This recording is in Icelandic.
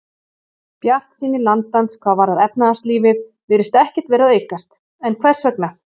Bjartsýni landans hvað varðar efnahagslífið virðist ekkert vera að aukast, en hvers vegna?